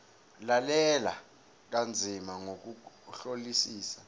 lalela kanzima ngokuhlolisisa